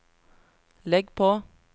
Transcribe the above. legg på